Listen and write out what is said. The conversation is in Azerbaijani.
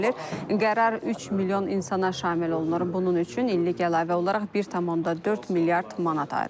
Qərar 3 milyon insana şamil olunur, bunun üçün illik əlavə olaraq 1,4 milyard manat ayrılıb.